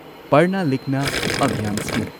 ꯄꯔꯅꯥ ꯂꯤꯈꯅ ꯑꯚꯤꯌꯥꯟ ꯁ꯭ꯀꯤꯝ